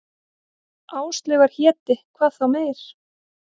Áslaugar héti, hvað þá meir.